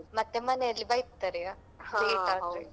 ಮತ್ತೆ ಮನೆಯಲ್ಲಿ ಬೈತಾರೆಯ late ಆದ್ರೆ.